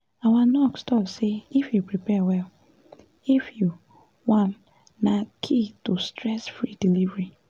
our nurse talk say if you prepare well if you wan na key to stress-free delivery